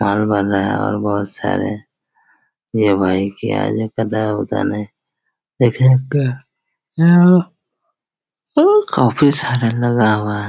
माल बन रहा है और बहुत सारे ये भाई क्या जो कर रह है पता नहीं लेकिन यहाँ पे यहाँ अ काफी सारे लोग आए हुए है।